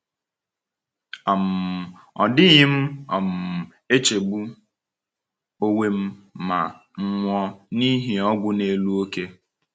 um Ọ dịghị m um echegbu onwe m ma m nwụọ n’ihi ọgwụ n’elu oke.